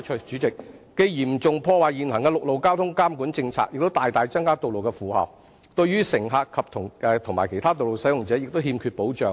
這樣既嚴重破壞現行的陸路交通監管政策，亦大大增加道路負荷，對於乘客和其他道路使用者更欠缺保障。